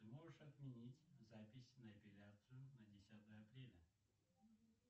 ты можешь отменить запись на эпиляцию на десятое апреля